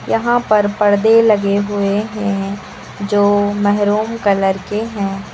यहां पर पर्दे लगे हुए हैं जो मेहरून कलर के हैं।